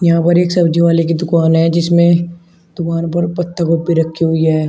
यहाँ पर एक सब्जी वाले की दुकान है जिसमें दुकान पर पत्ता गोभी रखी हुई है।